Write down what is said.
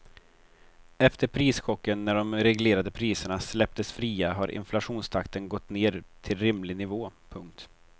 Efter prischocken när de reglerade priserna släpptes fria har inflationstakten gått ned till rimlig nivå. punkt